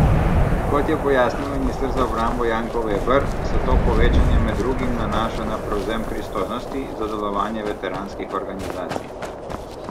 Kot je pojasnil minister za obrambo Janko Veber, se to povečanje med drugim nanaša na prevzem pristojnosti za delovanje veteranskih organizacij.